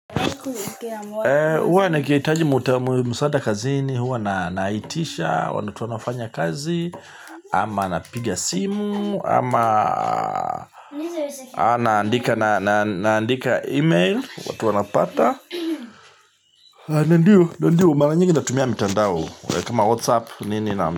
Eee, huwa nikihitaji msaada kazini, huwa naitisha, watu wanafanya kazi, ama napiga simu, ama naandika email watu wanapata. Ah, na ndio, na ndio, mara nyingi natumia mtandao. Kama WhatsApp nini na.